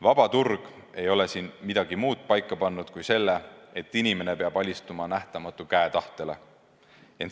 Vaba turg ei ole siin midagi muud paika pannud kui selle, et inimene peab alistuma nähtamatu käe tahtele.